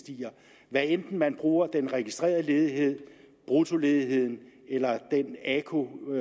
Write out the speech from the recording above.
stiger hvad enten man bruger den registrerede ledighed bruttoledigheden eller aku